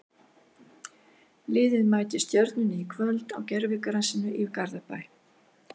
Liðið mætir Stjörnunni í kvöld á gervigrasinu í Garðabæ.